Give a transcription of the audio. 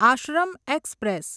Ashram express